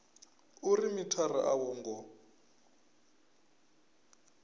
uri mithara a wo ngo